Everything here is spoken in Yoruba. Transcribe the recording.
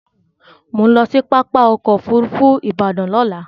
Mò ń lọ sí pápá ọkọ̀ Òfurufú Ìbàdàn lọ́la